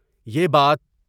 یہ بات